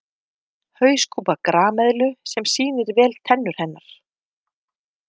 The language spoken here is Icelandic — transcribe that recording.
Hauskúpa grameðlu sem sýnir vel tennur hennar.